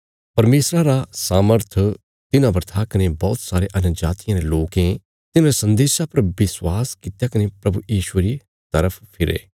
परमेशरा रा सामर्थ तिन्हां पर था कने बौहत सारे अन्यजातियां रे लोकें तिन्हांरे सन्देशा पर विश्वास कित्या कने प्रभु यीशुये री तरफ फिरे